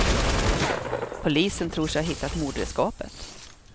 Polisen tror sig ha hittat mordredskapet.